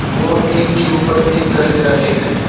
वो एक के उपर एक करके रखे गए हैं।